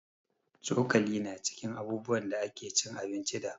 Cokali ma cikin abubuwan kici da ake cin abinci da